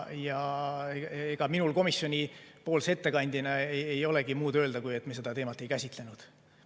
Ja ega minul komisjonipoolse ettekandjana ei olegi muud öelda, kui et me seda teemat ei käsitlenud.